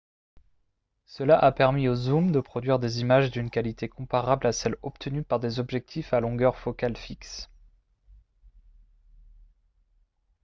cela a permis aux zooms de produire des images d'une qualité comparable à celle obtenue par des objectifs à longueur focale fixe